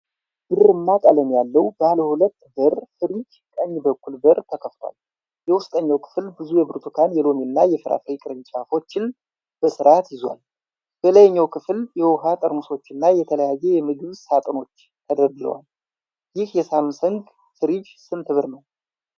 ብርማ ቀለም ያለው ባለ ሁለት በር ፍሪጅ ቀኝ በኩል በር ተከፍቶአል። የውስጠኛው ክፍል ብዙ የብርቱካን፣ የሎሚና የፍራፍሬ ቅርጫቶችን በስርዓት ይዟል። በላይኛው ክፍል የውኃ ጠርሙሶችና የተለያየ የምግብ ሣጥኖች ተደርድረዋል። ይህ የሳምሰንግ ፍሪጅ ስንት ብር ነው?